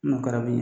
N'o kɛra bi